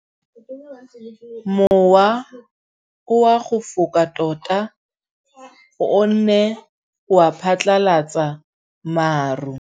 Mowa o wa go foka tota o ne wa phatlalatsa maru.